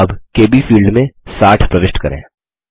अब KB field में 60 प्रविष्ट करें